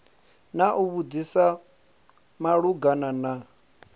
na u vhudzisa malugana na